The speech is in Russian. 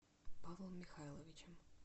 павлом михайловичем